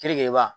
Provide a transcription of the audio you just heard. Kenegeba